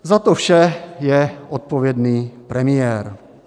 Za to vše je odpovědný premiér.